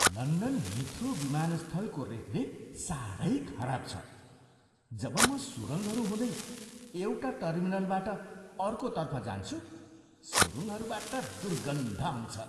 London Heathrow विमानस्थलको रेखदेख साह्रै खराब छ। जब म सुरुङ्गहरू हुँदै एउटा टर्मिनलबाट अर्कोतर्फ जान्छु, सुरुङ्गहरूबाट दुर्गन्ध आउँछ।